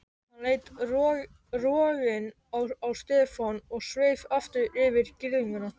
Hann leit rogginn á Stefán og sveif aftur yfir girðinguna.